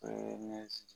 O ye ne